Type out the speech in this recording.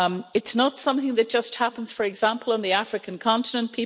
It's not something that just happens, for example, on the African continent.